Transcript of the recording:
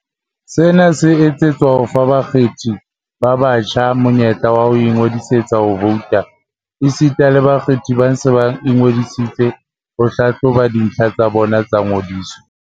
"Sena se etsetswa ho fa ba kgethi ba batjha monyetla wa ho ingodisetsa ho vouta, esita le bakgethi ba seng ba ingo disitse ho hlahloba dintlha tsa bona tsa ngodiso."